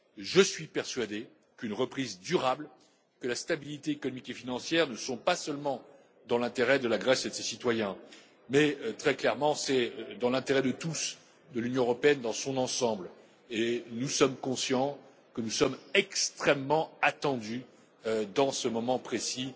Je suis persuadé qu'une reprise durable, que la stabilité économique et financière ne sont pas seulement dans l'intérêt de la Grèce et de ses citoyens, mais très clairement, c'est dans l'intérêt de tous, de l'Union européenne dans son ensemble, et nous sommes conscients que nous sommes extrêmement attendus dans ce moment précis.